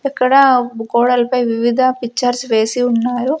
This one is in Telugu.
ఇక్కడ గోడల పై వివిధ పిక్చర్స్ వేసి ఉన్నారు.